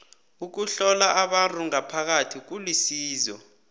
ukuhlola abantu ngaphakathi kulisizo